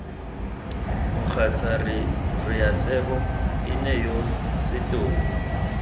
mogatsa raesebo ene yo setopo